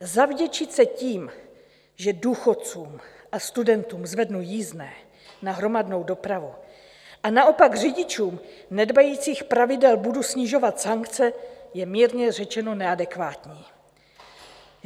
Zavděčit se tím, že důchodcům a studentům zvednu jízdné na hromadnou dopravu, a naopak řidičům nedbajících pravidel budu snižovat sankce, je mírně řečeno neadekvátní.